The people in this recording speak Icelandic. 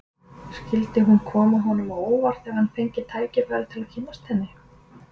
Skyldi hún koma honum á óvart ef hann fengi tækifæri til að kynnast henni?